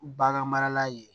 Bagan marala ye